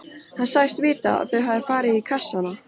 Hann sagðist vita að þau hefðu farið í kassana.